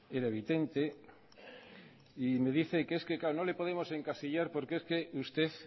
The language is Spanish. era evidente y me dice que es que es no podemos encasillar porque es que usted